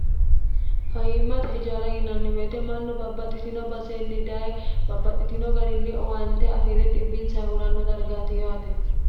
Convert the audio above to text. fayiimmate ijaara yinanni woyite mannu babbaxxitino baseenni daye babbaxxitino garinni owaante afiire xbbinsa huranno dargaati yaate